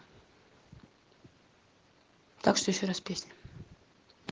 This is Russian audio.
так что ещё раз песня